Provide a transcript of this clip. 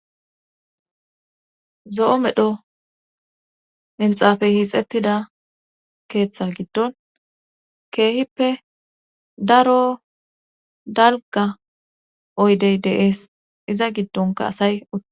Zo7o medho minxaafey hiixettida keetha giddon keehipppe darro dalgga oydey deesiza giddonkka asay utti.